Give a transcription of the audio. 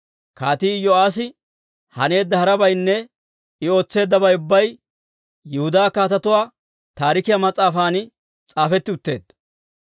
Kaatii Iyo'aassi haneedda harabaynne I ootseeddabay ubbay Yihudaa Kaatetuu Taarikiyaa mas'aafan s'aafetti utteedda.